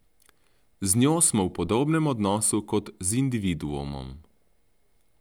Z njo smo v podobnem odnosu kot z individuumom.